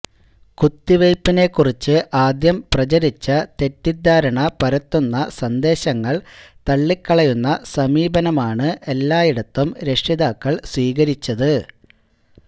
കുത്തിവയ്പിനെക്കുറിച്ച് ആദ്യം പ്രചരിച്ച തെറ്റിദ്ധാരണ പരത്തുന്ന സന്ദേശങ്ങള് തള്ളിക്കളയുന്ന സമീപനമാണ് എല്ലായിടത്തും രക്ഷിതാക്കള് സ്വീകരിച്ചത്